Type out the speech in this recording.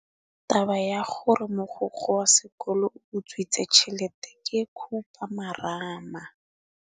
Taba ya gore mogokgo wa sekolo o utswitse tšhelete ke khupamarama.